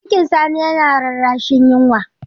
Cikin Sani yana rarrashin yunwa.